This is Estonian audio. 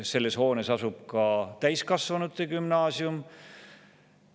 Selles hoones asub ka täiskasvanute gümnaasium.